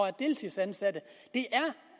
er deltidsansatte det er